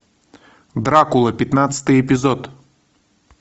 дракула пятнадцатый эпизод